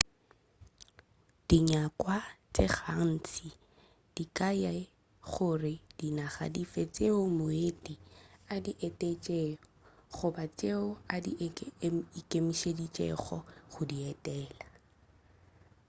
dinyakwa tše gantši di ka ya le gore ke dinaga dife tšeo moeti a di etetšego goba tšeo a ikemišeditšego go di etela